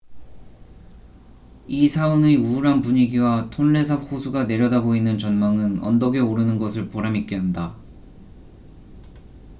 이 사원의 우울한 분위기와 톤레삽 호수가 내려다보이는 전망은 언덕에 오르는 것을 보람 있게 한다